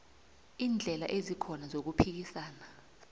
iindlela ezikhona zokuphikisa